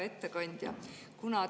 Hea ettekandja!